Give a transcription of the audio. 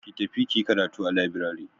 Ki tafi kiyi karatu a labirari.